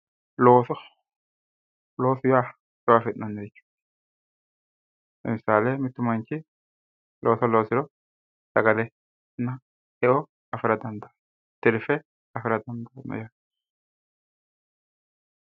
looso loosu ya e'o afi'nanni lemisaale mittu manchi looso loosiro sagale e'o afira dandaano tirfe afira dandaano yaate